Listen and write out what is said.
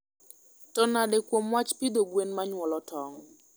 To nade kuom wach pidho gwen manyuolo tong?